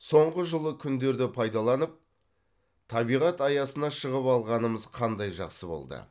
соңғы жылы күндерді пайдаланып табиғат аясына шығып алғанымыз қандай жақсы болды